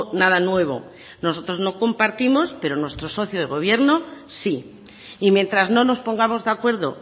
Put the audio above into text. nada nuevo nosotros no compartimos pero nuestro socio de gobierno sí y mientras no nos pongamos de acuerdo